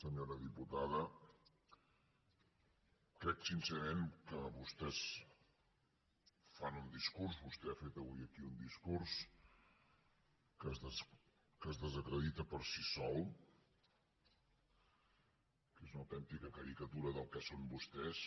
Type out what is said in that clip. senyora diputada crec sincerament que vostès fan un discurs vostè ha fet avui aquí un discurs que es desacredita per si sol que és una autèntica caricatura del que són vostès